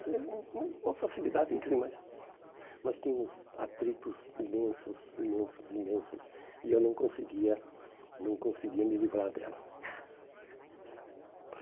É uma facilidade incrível, mas nós tínhamos atritos imensos, imensos, imensos, e eu não conseguia não conseguia me livrar dela.